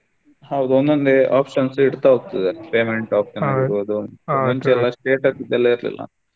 ಹೌದು ಒಂದೊಂದೆ options ಇಡ್ತಾ ಹೋಗ್ತದೆ payment option ಇರ್ಬಹುದು ಮುಂಚೆ ಎಲ್ಲಾ status ದು ಎಲ್ಲಾ ಇರ್ಲಿಲ್ಲ.